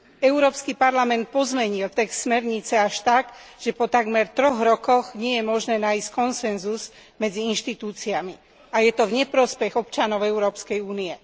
Európsky parlament pozmenil text smernice až tak, že po takmer troch rokoch nie je možné nájsť konsenzus medzi inštitúciami a je to v neprospech občanov Európskej únie.